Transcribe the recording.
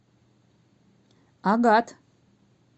агат